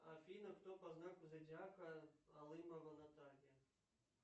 афина кто по знаку зодиака алымова наталья